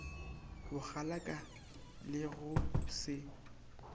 bokgalaka le ge go se